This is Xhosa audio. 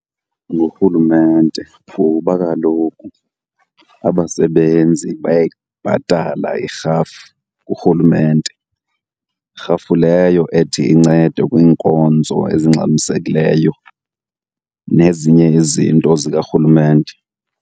Ngurhulumente kuba kaloku abasebenzi bayayibhatala irhafu kurhulumente. Rhafu leyo ethi incede kwiinkonzo ezingxamisekileyo nezinye izinto zikarhulumente.